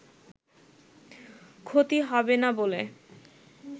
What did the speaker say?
ক্ষতি হবে না বলে